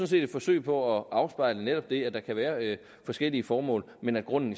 set et forsøg på at afspejle netop det at der kan være forskellige formål men at grunden